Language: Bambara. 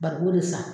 Bariko de sa